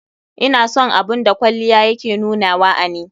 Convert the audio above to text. Ina son abun da kwalliya ya ke nunawa a ni.